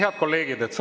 Head kolleegid!